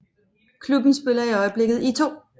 Klubben spiller i øjeblikket i 2